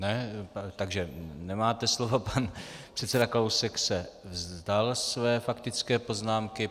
Ne, takže nemáte slovo, pan předseda Kalousek se vzdal své faktické poznámky.